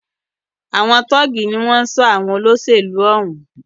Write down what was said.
Àwọn tọ́ọ̀gì ní wọ́n ń ṣọ́ àwọn olóṣèlú òún.